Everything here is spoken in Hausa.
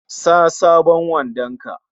Sa sabon wandon ka!